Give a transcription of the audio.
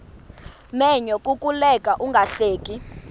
menyo kukuleka ungahleki